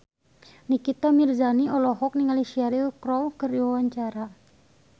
Nikita Mirzani olohok ningali Cheryl Crow keur diwawancara